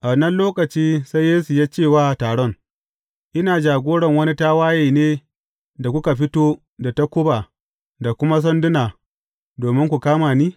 A wannan lokaci sai Yesu ya ce wa taron, Ina jagoran wani tawaye ne, da kuka fito da takuba da kuma sanduna domin ku kama ni?